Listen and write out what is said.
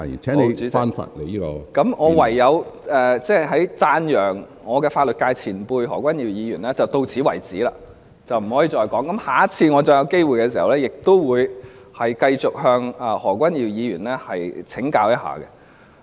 好的，主席，那麼我讚揚法律界前輩何君堯議員便唯有到此為止，不能夠繼續說了，下次有機會時，我會繼續向何君堯議員請教。